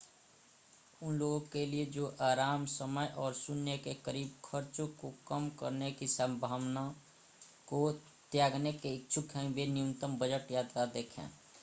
उन लोगों के लिए जो आराम समय और शून्य के करीब खर्चों को कम करने की संभावना को त्यागने के इच्छुक हैं वे न्यूनतम बजट यात्रा देखें